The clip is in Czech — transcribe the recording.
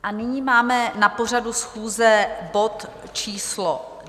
A nyní máme na pořadu schůze bod číslo